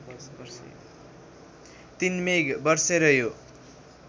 ३ मेघ बर्सेर यो